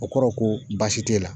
O kɔrɔ ko baasi t'e la.